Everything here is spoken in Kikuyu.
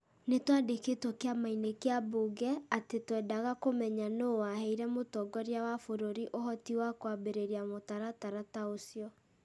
Nĩ twandĩkĩtwo kĩama-inĩ kĩa mbunge atĩ twendaga kũmenya nũũ waheire mũtongoria wa bũrũri ũhoti wa kwambĩrĩria mũtaratara ta ũcio.